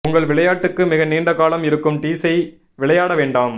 உங்கள் விளையாட்டுக்கு மிக நீண்ட காலம் இருக்கும் டீஸை விளையாட வேண்டாம்